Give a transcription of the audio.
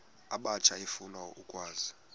abatsha efuna ukwazi